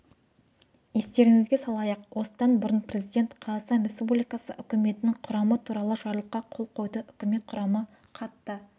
естеріңізге салайық осыдан бұрын президент қазақстан республикасы үкіметінің құрамы туралы жарлыққа қол қойды үкімет құрамы қатты